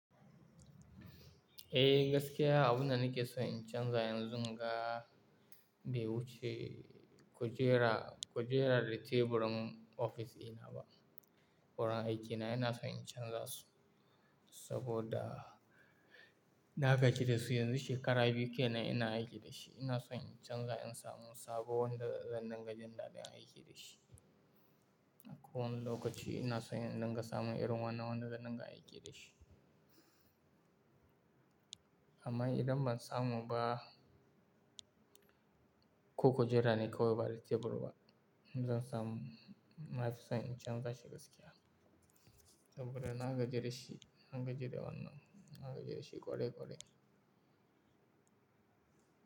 Eh gaskiya abunda nake son in canza yanzu ga bai wuce kujera, kujera da teburin ofis ina ba. Wurin aikina ina son in canza su saboda na gajiyarsu yanzu shekara biyu kenan ina aiki da shi. Ina son in canza in samu sabon da zan dinga jin daɗin aiki da shi. Akwai wani lokaci ina son in dinga samun irin wannan da zan dinga aiki da shi. Amma idan ban samu ba ko kujera ne ko bari tebur ba, in zan samu na fi son in canza shi gaskiya saboda na gaji da shi, na gaji da wannan, na gaji da shi ƙwarai ƙwarai.